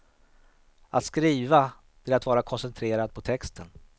Att skriva, det är att vara koncentrerad på texten.